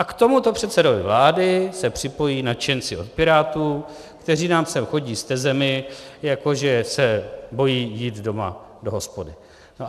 A k tomuto předsedovi vlády se připojí nadšenci od Pirátů, kteří nám sem chodí s tezemi, jako že se bojí jít doma do hospody.